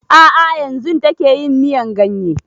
A'a yanzun take yin miyan ganye